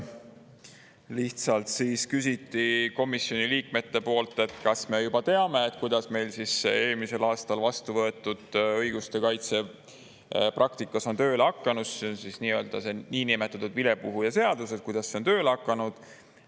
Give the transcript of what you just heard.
Lihtsalt küsiti komisjoni liikmete poolt, kas me juba teame, kuidas meil eelmisel aastal vastuvõetud õiguste kaitse praktikas on tööle hakanud, see on siis see niinimetatud vilepuhuja seadus, et kuidas see on tööle hakanud.